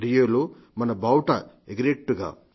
రియోలో మన బావుటా ఎగిరేట్టుగా